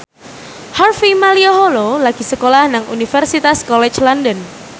Harvey Malaiholo lagi sekolah nang Universitas College London